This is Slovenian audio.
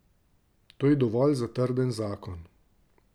To je dovolj za trden zakon.